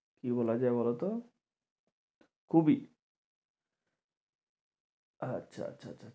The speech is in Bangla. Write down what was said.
কি বলা যায় বলতো কুবি আচ্ছা আচ্ছা আচ্ছা